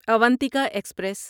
Avantika express